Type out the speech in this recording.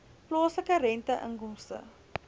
plaaslike rente inkomste